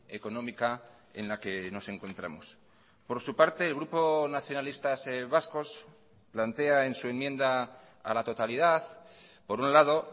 económica en la que nos encontramos por su parte el grupo nacionalistas vascos plantea en su enmienda a la totalidad por un lado